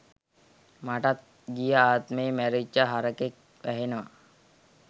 මටත් ගිය ආත්මේ මැරිච්ච හරකෙක් වැහෙනවා.